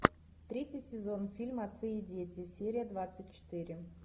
третий сезон фильма отцы и дети серия двадцать четыре